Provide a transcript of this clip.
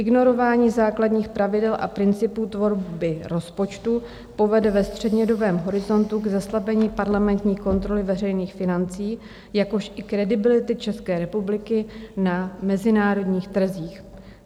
Ignorování základních pravidel a principů tvorby rozpočtu povede ve střednědobém horizontu k zeslabení parlamentní kontroly veřejných financí, jakož i kredibility České republiky na mezinárodních trzích.